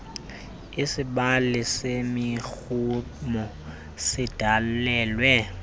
isibali semirhumo sidalelwe